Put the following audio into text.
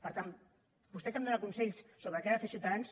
per tant vostè que em dóna consells sobre què ha de fer ciutadans